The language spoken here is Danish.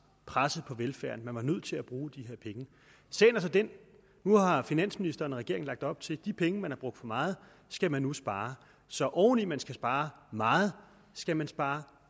presset på velfærden man var nødt til at bruge de penge nu har finansministeren og regeringen lagt op til at de penge man har brugt for meget skal man nu spare så oveni at man skal spare meget skal man spare